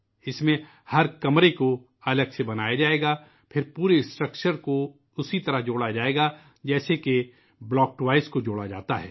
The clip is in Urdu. اس میں ، ہر کمرے کو الگ سے بنایا جائے گا ، پھر پورے ڈھانچے کو اسی طرح جوڑا جائے گا ، جیسے بلاک کھلونوں کو جوڑا جاتا ہے